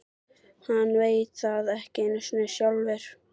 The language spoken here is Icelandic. Hann veit það ekki einu sinni sjálfur.